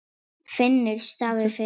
Finnur stafaði það fyrir hann.